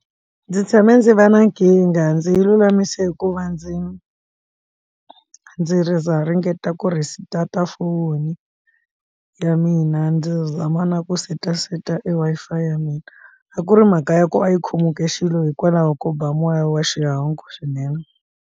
Ndzi tshame ndzi va na nkingha ndzi yi lulamise hikuva ndzi ri na ringeta ku ri restart-a foni ya mina ndzi zama na ku seta seta e Wi-Fi ya mina a ku ri mhaka ya ku a yi khomile xilo hikwalaho ko ba moya wa xihangu swinene.